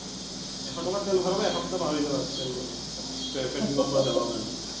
এশ টকা তেল ভৰাবা এসপ্তাহ পাহৰি যাবা তেল petrol কাৰনে।